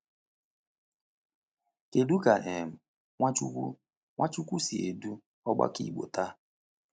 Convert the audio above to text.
Kedu ka um Nwachukwu Nwachukwu si edu ọgbakọ Igbo taa?